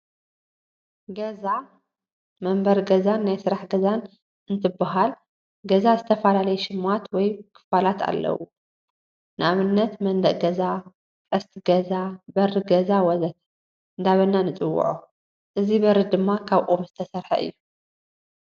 ገዛ መንበሪ ገዛን ናይ ስራሕ ገዛን እንትበሃል ገዛ ዝተፈላለይ ሽማት ወይ ክፋላት ኣለውዎ ንኣብነት፦ መንደቅ ገዛ፣ ቀስቲ ገዛ፣ በሪ ገዛ ወዘተ... እንዳበልና ንፅወፆ። እዚ በሪ ድማ ካብ ኦም ዝተሰረሐ እዩ።